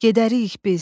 Gedərik biz.